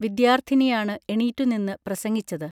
വിദ്യാർത്ഥിനിയാണ് എണീറ്റുനിന്ന് പ്രസംഗിച്ചത്